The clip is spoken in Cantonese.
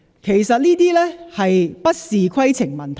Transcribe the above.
其實這些不是規程問題。